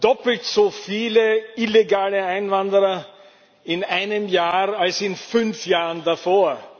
Doppelt so viele illegale Einwanderer in einem Jahr wie in fünf Jahren davor!